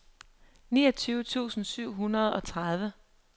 niogtyve tusind syv hundrede og tredive